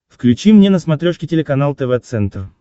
включи мне на смотрешке телеканал тв центр